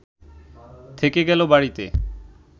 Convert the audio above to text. থেকে গেল বাড়িতে